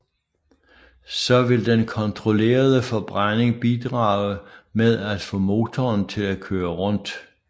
Så vil den kontrollerede forbrænding bidrage med at få motoren til at køre rundt